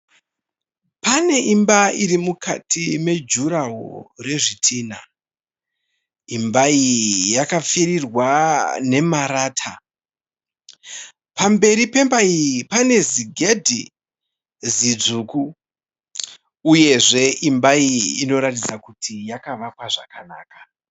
Pane imba iri mukati mejuraho rezvitinha. Imba iyi yakapfirirwa nemarata. Pamberi pemba iyi pane zigedhi zidzvuku uyezve imba iyi inoratidza kuti yakavakwa zvakanaka.